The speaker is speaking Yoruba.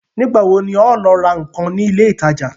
Nígbà wo ni ọ ọ́ lọ ra ǹkan ní ilé ìtajà?